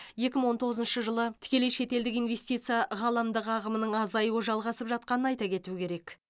екі мың он тоғызыншы жылы тікелей шетелдік инвестиция ғаламдық ағымының азаюы жалғасып жатқанын айта кету керек